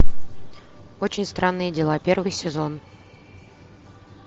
очень странные дела первый сезон